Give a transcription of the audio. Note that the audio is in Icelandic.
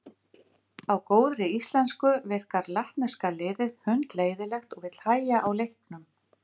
Aðrar grunntölur hafa einnig verið notaðar.